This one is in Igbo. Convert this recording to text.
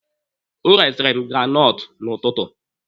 Ọ resiri m granọtụ n'ụtụtụ.